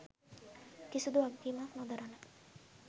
කිසිදු වගකීමක් නොදරන